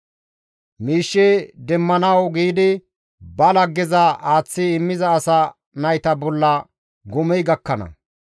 Miishshe demmanawu giidi ba laggeza aaththi immiza asa nayta bolla gomey gakkana.